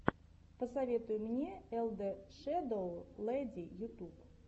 посоветуй мне эл дэ шэдоу лэди ютуб